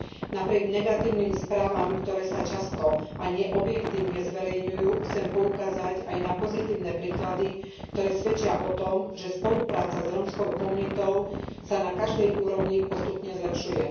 Napriek negatívnym správam, ktoré sa často a nie objektívne zverejňujú, chcem poukázať aj na pozitívne príklady, ktoré svedčia o tom, že spolupráca s rómskou komunitou sa na každej úrovni postupne zlepšuje.